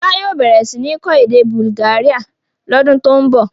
Fọlá yóò bẹ̀rẹ̀ sí ní kọ́ èdè Bulgaria lodun tó ń bọ̀.